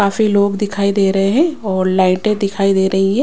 काफी लोग दिखाई दे रहे हैं और लाइटें दिखाई दे रही है।